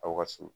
Aw ka so